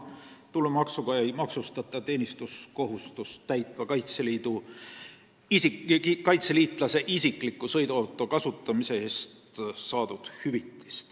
Tulumaksuga ei maksustata teenistuskohustust täitva kaitseliitlase isikliku sõiduauto kasutamise eest saadud hüvitist.